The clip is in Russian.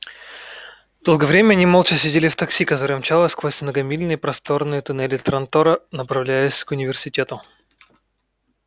долгое время они молча сидели в такси которое мчалось сквозь многомильные просторные туннели трантора направляясь к университету